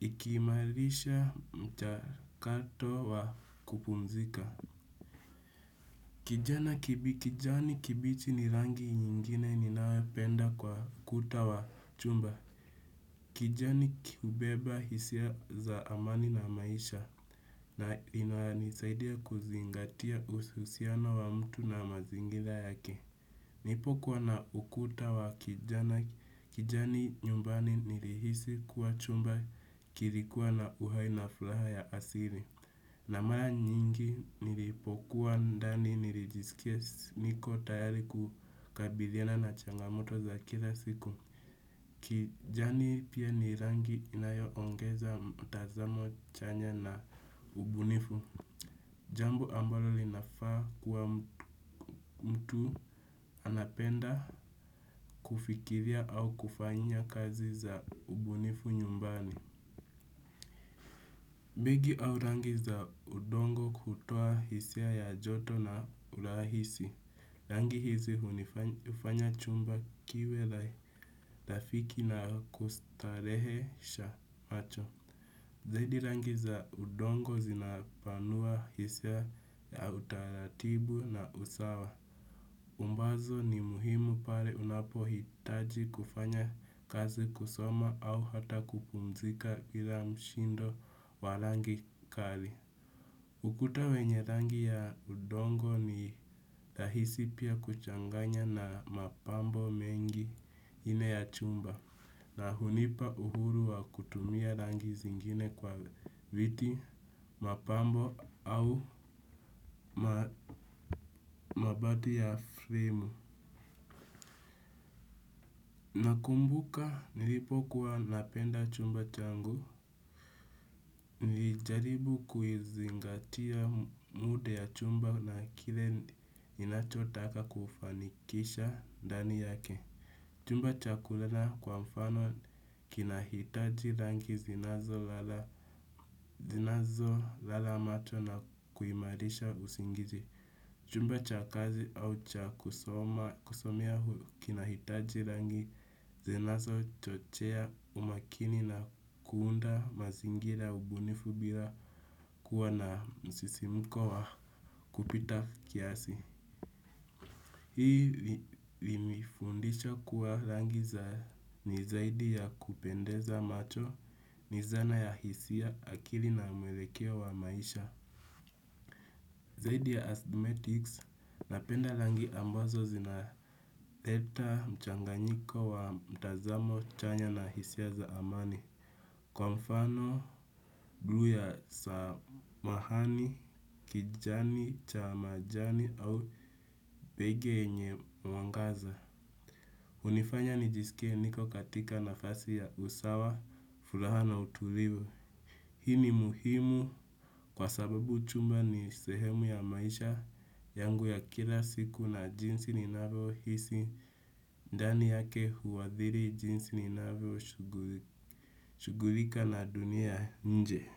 Ikiimalisha mchakato wa kupumzika. Kijani kibichi ni rangi nyingine ni nayo penda kwa kuta wa chumba. Kijani hubeba hisia za amani na maisha. Na inayoni saidia kuzingatia ususiano wa mtu na mazingira yake. Nipokuwa na ukuta wa kijani nyumbani, nirihisi kuwa chumba kirikua na uhai na fulaha ya asiri. Na mara nyingi, niripokuwa ndani nirijisikia niko tayari kukabidhiana na changamoto za kila siku. Kijani pia ni rangi inayo ongeza mtazamo chanya na ubunifu. Jambo ambalo linafaa kuwa mtu anapenda kufikiria au kufanya kazi za ubunifu nyumbani. Bigi au rangi za udongo kutoa hisia ya joto na urahisi. Rangi hizi, hunifanya chumba kiwe lafiki na kustarehesha macho. Zaidi, rangi za udongo zinapanua hisia ya utaratibu na usawa. Ambazo ni muhimu pare unapo hitaji kufanya kazi, kusoma au hata kupumzika ila mshindo wa rangi kali. Ukuta wenye rangi ya udongo ni tahisi pia kuchanganya na mapambo mengi ine ya chumba. Na hunipa uhuru wa kutumia rangi zingine kwa viti, mapambo au mabadi ya fremu. Nakumbuka nilipo kuwa napenda chumba changu, niljaribu kuizingatia mude ya chumba na kile ninachotaka kufanikisha ndani yake. Chumba chaku lala kwa mfano kinahitaji rangi zinazo lala. Zinazo lala macho na kuimarisha usingizi. Chumba cha kazi au cha kusomea kinahitaji rangi. Zinazo chochea umakini na kuunda mazingira ya ubunifu bira kuwa na msisimuko wa, kupita kiasi. Hii limefundisha kuwa rangi za ni zaidi ya kupendeza macho, ni zana ya hisia akili na mwelekeo wa maisha. Zaidi ya asthmetics, napenda langi ambazo zina leta mchanganyiko wa mtazamo chanya na hisia za amani. Kwa mfano, bluu ya samahani, kijani, chamajani au pege yenye mwangaza. Unifanya nijisikie niko katika nafasi ya usawa, furaha na utulivu. Hii ni muhimu kwa sababu chumba ni sehemu ya maisha yangu ya kila siku na jinsi ninavyo hisi, ndani yake huwadhiri jinsi ninavyo shughulika na dunia nje.